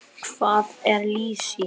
Hvað er lýsi?